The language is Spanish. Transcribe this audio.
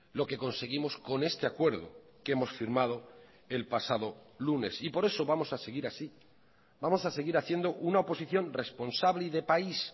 lo que conseguimos con este acuerdo que hemos firmado el pasado lunes y por eso vamos a seguir así vamos a seguir haciendo una oposición responsable y de país